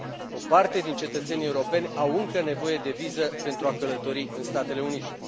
O parte din cetățenii europeni au încă nevoie de viză pentru a călători în Statele Unite.